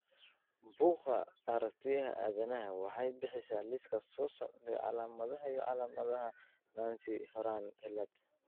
Bugga Aragtiyaha Aadanaha waxay bixisaa liiska soo socda ee calaamadaha iyo calaamadaha Nance Horan cilaad.